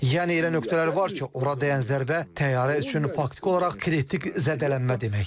Yəni elə nöqtələr var ki, ora dəyən zərbə təyyarə üçün faktiki olaraq kritik zədələnmə deməkdir.